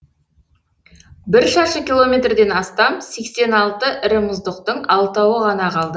бір шаршы километрден астам сексен алты ірі мұздықтың алтауы ғана қалды